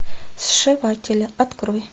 сшиватели открой